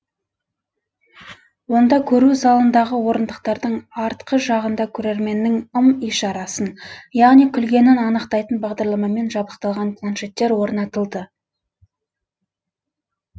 онда көру залындағы орындықтардың артқы жағында көрерменнің ым ишарасын яғни күлгенін анықтайтын бағдарламамен жабдықталған планшеттер орнатылды